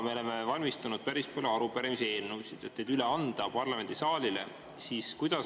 Me oleme ette valmistanud päris palju arupärimisi ja eelnõusid, et need parlamendisaalis üle anda.